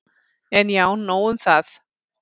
En já, nóg um það.